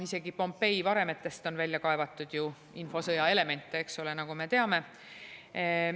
Isegi Pompei varemetest on ju välja kaevatud infosõja elemente, nagu me teame.